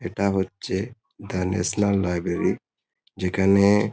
এটা হচ্ছে the national library যেখানে--